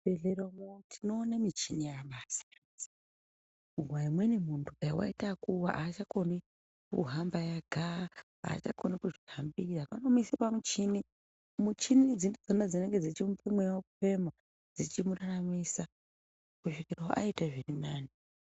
Muzvibhedhlera umu tinoona michini yakasiyana siyana umweni muntu dai aita yekuwa hachakoni kuhamba ega hachakoni kuzvihambira vanomuisa pamuchini muchini idzi ndidzona dzinenge dzichimupa mweya wekufema dzichimuraramisa kusvikira aitawo zviri nane.